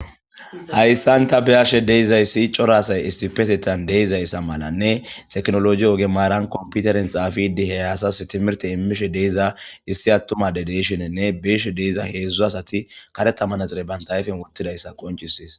Hayssan ta be'ashe dizayssi cora asay issipetettan de'izaysa malane technologe ogen computere bolla xafidi he asas timmirte imishe de'iza issi atuma ade de'shinine be'she diza hezhzhu asati karetta manaxire bantta ayfe wottidaysa qoncises.